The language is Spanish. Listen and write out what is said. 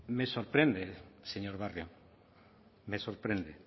me sorprende señor barrio me sorprende